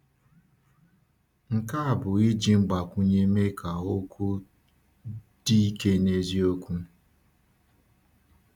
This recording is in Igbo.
Nke a bụ iji mgbakwunye mee ka okwu dị ike n’eziokwu.